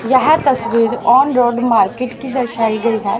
यह तस्वीर on road market की दर्शाई गई है।